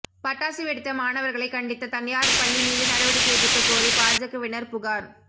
பட்டாசு வெடித்த மாணவர்களை கண்டித்த தனியார் பள்ளி மீது நடவடிக்கை எடுக்க கோரி பாஜகவினர் புகார்